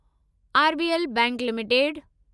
RBL bank limited